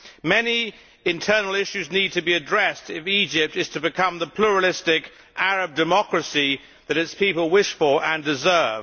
Many internal issues need to be addressed if Egypt is to become the pluralistic Arab democracy that its people wish for and deserve.